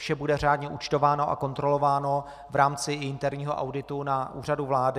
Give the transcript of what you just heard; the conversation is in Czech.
Vše bude řádně účtováno a kontrolováno v rámci interního auditu na Úřadu vlády.